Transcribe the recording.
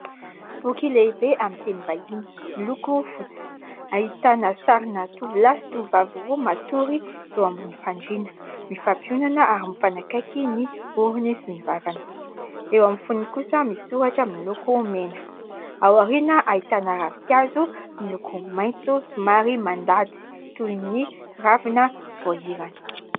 Boky lehibe amin'ny teny vahiny miloko fotsy, ahitana sarina tovolahy sy tovovavy roa matory eo ambony fandriana; mifampiondana ary mifanakaiky ny orony sy ny vavany. Eo amin'ny fonony kosa misy soratra miloko mena, ao aoriana ahitana ravinkazo miloko maitso somary mandady toy ny ravina voahirana.